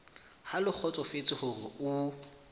ha le kgotsofetse hore o